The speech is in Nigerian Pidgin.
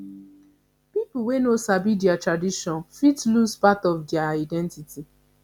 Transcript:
pipo wey no sabi dia tradition fit lose part of dia identity